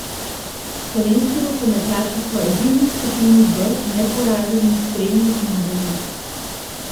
Slovenski rokometaši so edini v skupini B neporaženi s tremi zmagami.